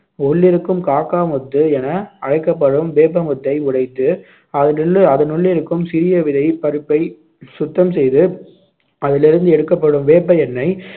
உள்ளிருக்கும் காக்காமுத்து என அழைக்கப்படும் வேப்பமுத்தை உடைத்து, அதிலுள்ள அதனுள்ளிருக்கும் சிறிய விதைப் பருப்பை சுத்தம் செய்து அதில் இருந்து எடுக்கப்படும் வேப்ப எண்ணெய்